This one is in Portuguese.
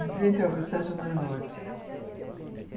Em frente à Estação do Norte.